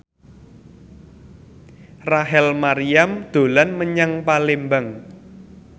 Rachel Maryam dolan menyang Palembang